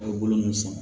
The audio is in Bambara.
A' ye bolo min sɔn